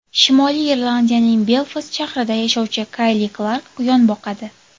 Shimoliy Irlandiyaning Belfast shahrida yashovchi Kayli Klark quyon boqadi.